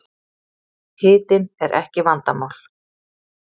Hitinn er ekki vandamál